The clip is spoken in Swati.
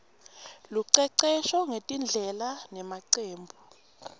lucecesho ngetindlela nemacebo